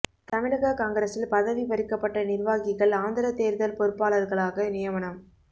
தமிழக காங்கிரசில் பதவி பறிக்கப்பட்ட நிர்வாகிகள் ஆந்திர தேர்தல் பொறுப்பாளர்களாக நியமனம்